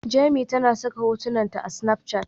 Jemi tana saka hotunan ta a Snapchat